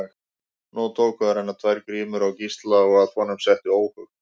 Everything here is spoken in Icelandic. Nú tóku að renna tvær grímur á Gísla og að honum setti óhug.